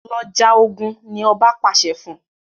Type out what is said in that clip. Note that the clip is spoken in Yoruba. Lọ já ògún! ní oba pàṣẹ fún.